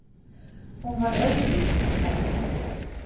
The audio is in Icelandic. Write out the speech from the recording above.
Hún var öðruvísi en þær.